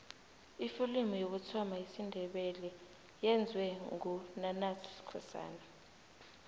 ifilimu yokuthoma yesindebele iyenzwe ngu nanus skosana